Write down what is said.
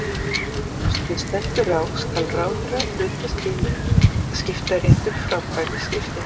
Ef svo stendur á skal ráðherra hlutast til um að skiptaréttur framkvæmi skiptin.